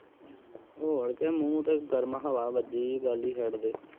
ਹੋਰ ਕਿ ਮੂਹ ਤੇ ਗਰਮ ਹਵਾ ਵੱਜੀ ਹੀਂ ਗੱਲ ਹੀਂ ਛੱਡਦੇ